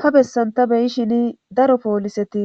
ha bessan ta beyishini daro pooliseti